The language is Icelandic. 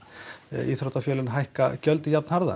íþróttafélögin hækka gjöldin jafn harðar